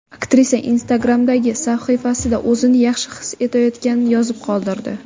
Aktrisa Instagram’dagi sahifasida o‘zini yaxshi his etayotganini yozib qoldirdi .